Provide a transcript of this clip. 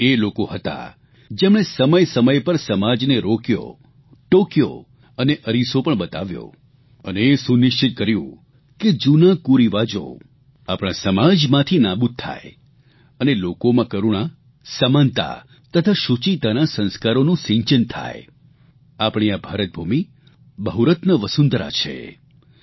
આ એ લોકો હતા જેમણે સમયસમય પર સમાજને રોક્યો ટોકયો અને અરીસો પણ બતાવ્યો અને એ સુનિશ્ચિત કર્યું કે જૂના કુરિવાજો આપણા સમાજમાંથી નાબૂદ થાય અને લોકોમાં કરૂણા સમાનતા તથા શૂચિતાના સંસ્કારોનું સિંચન થાય આપણી આ ભારતભૂમિ બહુરત્ન વસુંધરા છે